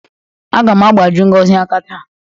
Aga m agbaji Ngozi aka taa.